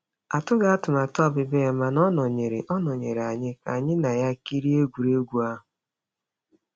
Atụghị atụmatụ ọbịbịa ya, mana ọ nọnyeere ọ nọnyeere anyị ka anyị na ya kirie egwuregwu ahụ.